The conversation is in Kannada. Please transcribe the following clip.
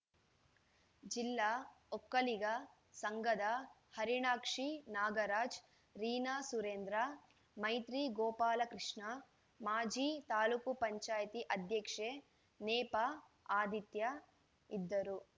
ಜಿಲ್ಲಾ ಒಕ್ಕಲಿಗ ಸಂಘದ ಹರಿಣಾಕ್ಷಿ ನಾಗರಾಜ್‌ ರೀನಾ ಸುರೇಂದ್ರ ಮೈತ್ರಿ ಗೋಪಾಲಕೃಷ್ಣ ಮಾಜಿ ತಾಲೂಕು ಪಂಚಾಯತಿ ಅಧ್ಯಕ್ಷೆ ನೇಪಾ ಅದಿತ್ಯ ಇದ್ದರು